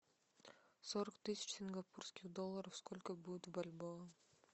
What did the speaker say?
сорок тысяч сингапурских долларов сколько будет в бальбоа